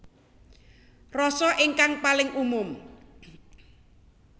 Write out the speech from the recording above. Rasa ingkang paling umum